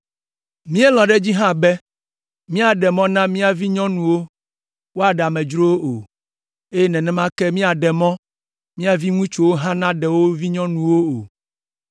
“Míelɔ̃ ɖe edzi hã be míaɖe mɔ na mía vinyɔnuwo woaɖe amedzrowo o, eye nenema ke míaɖe mɔ mía viŋutsuwo hã naɖe wo vinyɔnuwo o.